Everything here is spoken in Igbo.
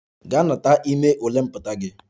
Gaa na-anakọta gị ime ule pụta!